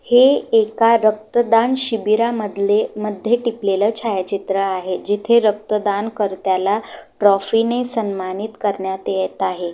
हे एका रक्तदान शिबीरामधले- मध्ये टिपलेलं छायाचित्र आहे जिथे रक्तदान कर्त्याला ट्रॉफी ने सन्मानित करण्यात येत आहे.